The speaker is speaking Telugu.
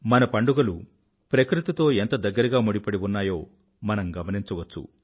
మన పండుగలు ప్రకృతితో ఎంత దగ్గరగా ముడిపడి ఉన్నాయో మనం గమనించవచ్చు